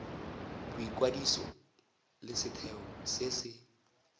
boikwadiso le setheo se se